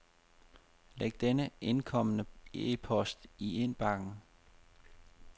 Læg den indkomne e-post i indbakken.